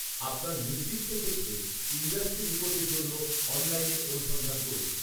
আপনার নির্দিষ্ট ক্ষেত্রে, ইন্ডাস্ট্রি রিপোর্টের জন্য, অনলাইনে অনুসন্ধান করুন।